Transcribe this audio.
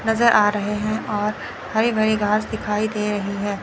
नजर आ रहे हैं और हरी भरी घास दिखाई दे रही हैं।